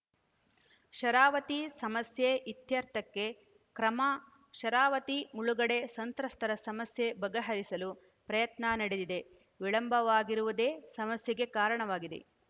ಶರಾವತಿ ಸಮಸ್ಯೆ ಇತ್ಯರ್ಥಕ್ಕೆ ಕ್ರಮ ಶರಾವತಿ ಮುಳುಗಡೆ ಸಂತ್ರಸ್ತರ ಸಮಸ್ಯೆ ಬಗೆಹರಿಸಲು ಪ್ರಯತ್ನ ನಡೆದಿದೆ ವಿಳಂಬವಾಗಿರುವುದೆ ಸಮಸ್ಯೆಗೆ ಕಾರಣವಾಗಿದೆ